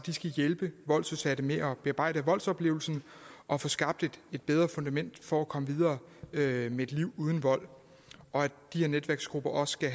hjælpe voldsudsatte med at bearbejde voldsoplevelsen og få skabt et bedre fundament for at komme videre med et liv uden vold og i de her netværksgrupper skal